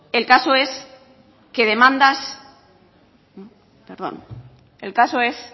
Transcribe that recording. el caso es que demandas perdón el caso es